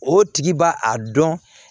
O tigi b'a a dɔn